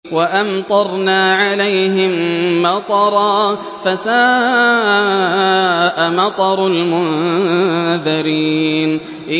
وَأَمْطَرْنَا عَلَيْهِم مَّطَرًا ۖ فَسَاءَ مَطَرُ الْمُنذَرِينَ